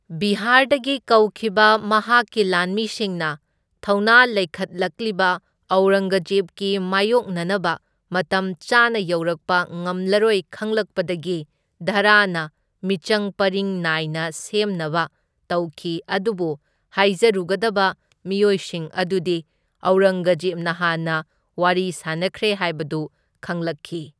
ꯕꯤꯍꯥꯔꯗꯒꯤ ꯀꯧꯈꯤꯕ ꯃꯍꯥꯛꯛꯤ ꯂꯥꯟꯃꯤꯁꯤꯡꯅ ꯊꯧꯅꯥ ꯂꯩꯈꯠꯂꯛꯂꯤꯕ ꯑꯧꯔꯪꯒꯖꯦꯕꯀꯤ ꯃꯥꯏꯌꯣꯛꯅꯅꯕ ꯃꯇꯝ ꯆꯥꯅ ꯌꯧꯔꯛꯄ ꯉꯝꯂꯔꯣꯏ ꯈꯪꯂꯛꯄꯗꯒꯤ, ꯗꯥꯔꯥꯅ ꯃꯤꯆꯪꯄꯔꯤꯡ ꯅꯥꯏꯅ ꯁꯦꯝꯅꯕ ꯇꯧꯈꯤ ꯑꯗꯨꯕꯨ ꯍꯥꯏꯖꯔꯨꯒꯗꯕ ꯃꯤꯑꯣꯏꯁꯤꯡ ꯑꯗꯨꯗꯤ ꯑꯧꯔꯪꯒꯖꯦꯕꯅ ꯍꯥꯟꯅ ꯋꯥꯔꯤ ꯁꯅꯥꯈ꯭ꯔꯦ ꯍꯥꯏꯕꯗꯨ ꯈꯪꯂꯛꯈꯤ꯫